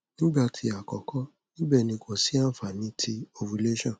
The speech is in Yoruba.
nigba ti akoko nibẹ ni ko si anfani ti ovulation